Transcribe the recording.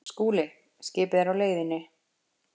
SKÚLI: Skipið er á leiðinni.